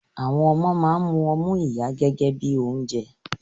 Àwọn ọmọ máa ń mu ọmú ìyá wọn gẹ́gẹ́ bíi oúnjẹ.